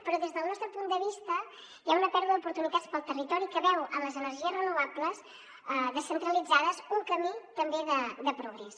però des del nostre punt de vista hi ha una pèrdua d’oportunitats per al territori que veu en les energies renovables descentralitzades un camí també de progrés